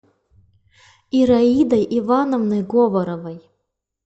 ираидой ивановной говоровой